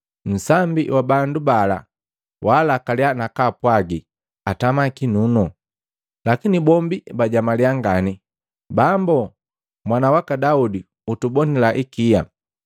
Nsambi wa bandu bala waalakalia nakaapwagi atama kinunu. Lakini bombi bajamalia ngani, “Bambo, Mwana waka Daudi utubonila ikia!”